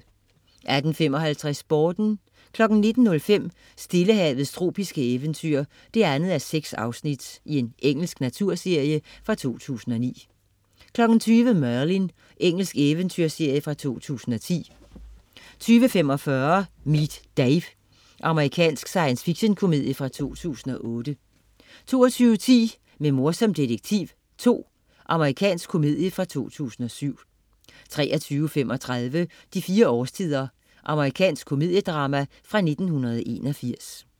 18.55 Sporten 19.05 Stillehavets tropiske eventyr 2:6. Engelsk naturserie fra 2009 20.00 Merlin. Engelsk eventyrserie fra 2010 20.45 Meet Dave. Amerikansk science fiction-komedie fra 2008 22.10 Med mor som detektiv 2. Amerikansk komedie fra 2007 23.35 De fire årstider. Amerikansk komediedrama fra 1981